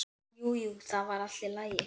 Jú, jú, það var allt í lagi.